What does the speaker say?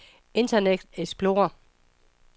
internet explorer